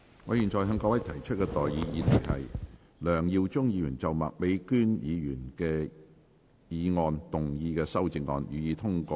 我現在向各位提出的待議議題是：梁耀忠議員就麥美娟議員議案動議的修正案，予以通過。